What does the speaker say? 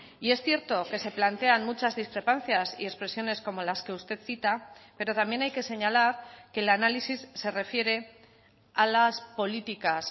y es cierto que se plantean muchas discrepancias y expresiones como las que usted cita pero también hay que señalar que el análisis se refiere a las políticas